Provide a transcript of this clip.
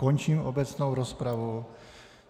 Končím obecnou rozpravu.